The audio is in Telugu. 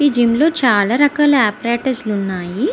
ఈ జిం లో చాల రకాల ఒపరతోర్స్ వున్నాయి.